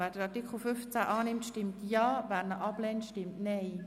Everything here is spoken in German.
Wer Artikel 15 annimmt, stimmt Ja, wer diesen ablehnt, stimmt Nein.